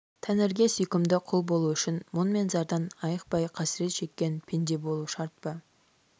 тәңірге сүйкімді құл болу үшін мұң мен зардан айықпай қасірет шеккен пенде болу шарт па